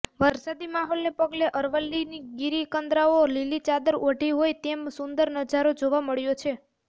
વરસાદી માહોલને પગલે અરવલ્લીની ગિરીકંદરાઓ લીલી ચાદર ઓઢી હોય તેમ સુંદર નજારો જોવા મળ્યો છે